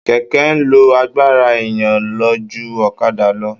Kẹ̀kẹ́ ń lo agbára èèyàn lọ ju ọ̀kadà lọ